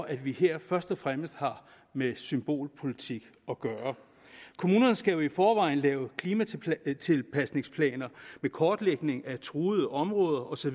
at vi her først og fremmest har med symbolpolitik at gøre kommunerne skal jo i forvejen lave klimatilpasningsplaner med kortlægning af truede områder osv